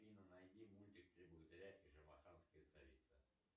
афина найди мультик три богатыря и шамаханская царица